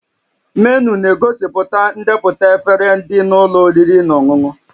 Menu na-egosipụta ndepụta efere dị na ụlọ oriri na ọṅụṅụ